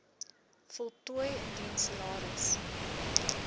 voltooi indien salaris